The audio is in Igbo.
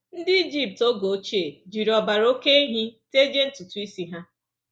Ndị Ijipt oge ochie jiri ọbara oké ehi tejie ntutu isi ha.